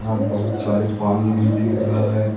वहां बहुत सारे पानी भी दिख रहा है।